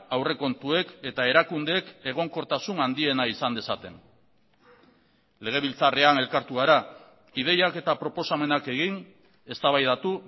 aurrekontuek eta erakundeek egonkortasun handiena izan dezaten legebiltzarrean elkartu gara ideiak eta proposamenak egin eztabaidatu